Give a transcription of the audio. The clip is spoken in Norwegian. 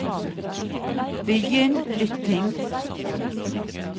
begynn lytting